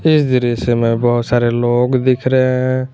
इस दृश्य में बहुत सारे लोग दिख रहे हैं।